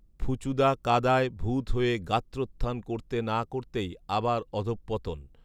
ফুচুদা কাদায় ভূত হয়ে গাত্ৰোখান করতে না করতেই আবার অধঃপতন